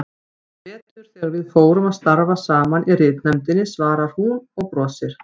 Í vetur þegar við fórum að starfa saman í ritnefndinni, svarar hún og brosir.